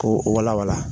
Ko walawala